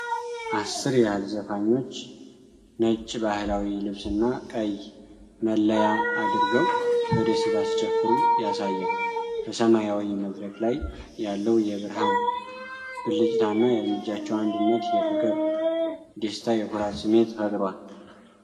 አሥር ያህል ዘፋኞች ነጭ ባህላዊ ልብስና ቀይ መለያ አድርገው በደስታ ሲጨፍሩ ያሳያል። በሰማያዊ መድረክ ላይ ያለው የብርሃን ብልጭታና የእርምጃቸው አንድነት የፍቅር፣ የደስታና የኩራት ስሜትን ፈጥሯል።